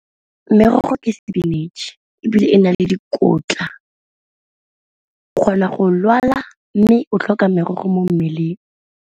Merogo ke sepinatšhe ebile e na le dikotla o kgona go lwala, mme o tlhoka merogo mo mmeleng.